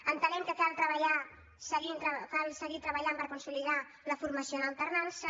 entenem que cal treballar cal seguir treba·llant per consolidar la formació en alternança